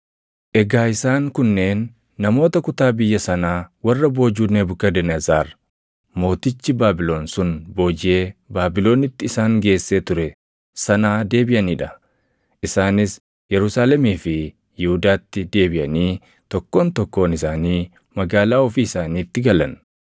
Egaa isaan kunneen namoota kutaa biyya sanaa warra boojuu Nebukadnezar mootichi Baabilon sun boojiʼee Baabilonitti isaan geessee ture sanaa deebiʼanii dha; isaanis Yerusaalemii fi Yihuudaatti deebiʼanii tokkoon tokkoon isaanii magaalaa ofii isaaniitti galan;